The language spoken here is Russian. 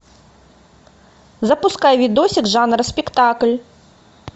запускай видосик жанра спектакль